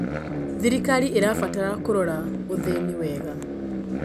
Thirikari ĩtabatara kũrora ũthĩĩni wega.